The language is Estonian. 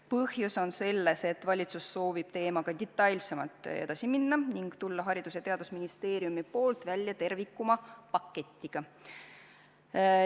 Põhjus on selles, et valitsus soovib teemaga detailsemalt edasi minna ning tulla Haridus- ja Teadusministeeriumi poolt välja terviklikuma paketiga.